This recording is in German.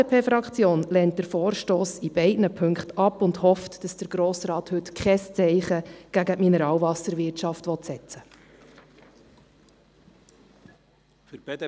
Die FDP Fraktion lehnt den Vorstoss in beiden Ziffern ab und hofft, dass der Grosse Rat heute kein Zeichen gegen die heimische Mineralwasserwirtschaft setzen wird.